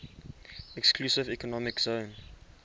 exclusive economic zone